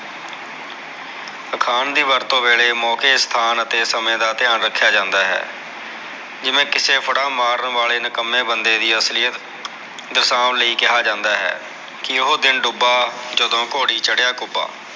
ਅਖਾਣ ਦੀ ਵਰਤੋ ਵੇਲੇ ਮੋਕੇ ਸਥਾਨ ਅਤੇ ਸਮੇ ਦਾ ਧਿਆਨ ਰਖਿਆ ਜਾਂਦਾ ਹੈ ਜਿਵੇ ਕਿਸੇ ਫੜਾ ਮਾਰਨ ਵਾਲੇ ਕਿਸੇ ਨਿਕਮੇ ਬੰਦੇ ਅਸਲੀਅਤ ਦਰਸਾਉਣ ਲਈ ਕਿਹਾ ਜਾਂਦਾ ਹੈ ਕੇ ਓਹ ਦਿਨ ਡੁਬਾ ਜਿਦਨ ਘੋੜੀ ਚੜਿਆ ਕੁਬਾ